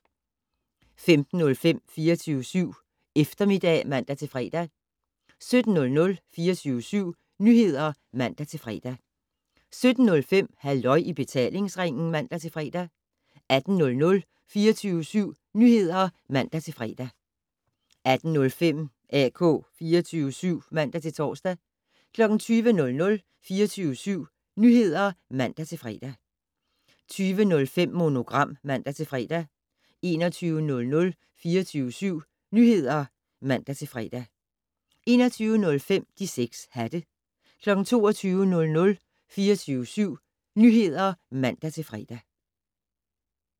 15:05: 24syv Eftermiddag (man-fre) 17:00: 24syv Nyheder (man-fre) 17:05: Halløj i betalingsringen (man-fre) 18:00: 24syv Nyheder (man-fre) 18:05: AK 24syv (man-tor) 20:00: 24syv Nyheder (man-fre) 20:05: Monogram (man-fre) 21:00: 24syv Nyheder (man-fre) 21:05: De 6 hatte 22:00: 24syv Nyheder (man-fre)